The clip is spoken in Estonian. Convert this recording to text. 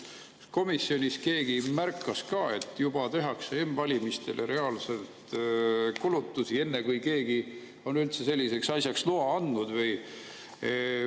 Kas komisjonis keegi märkas ka, et juba tehakse m-valimistele reaalselt kulutusi, enne kui keegi on üldse selliseks asjaks loa andnud?